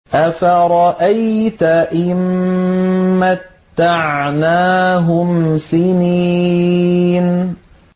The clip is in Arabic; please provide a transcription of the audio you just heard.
أَفَرَأَيْتَ إِن مَّتَّعْنَاهُمْ سِنِينَ